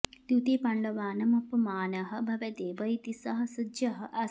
द्यूते पाण्डवानाम् अपमानः भवेदेव इति सः सज्जः आसीत्